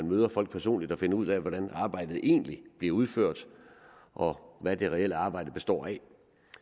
møder folk personligt og finder ud af hvordan arbejdet egentlig bliver udført og hvad det reelle arbejde består i